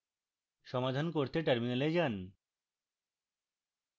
সমাধান করতে terminal যান